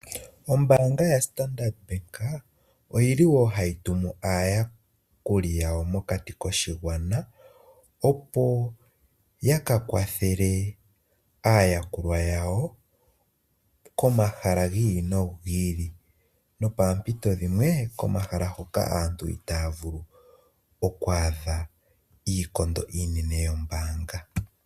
Ombaanga yoStandard Bank ohayi tumu aayakuli yawo mokati koshigwana opo yakakwathele aayakulwa yawo komahala gi ili nogi ili. Nopaampito dhimwe komahala hoka aantu itaya vulu okwaadha iikondo iinene yombaanga.